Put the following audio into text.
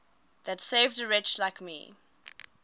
that saved a wretch like me